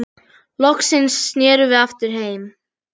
Loksins snerum við aftur heim.